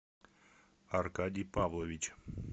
аркадий павлович